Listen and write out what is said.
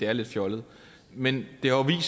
er lidt fjollede men det har jo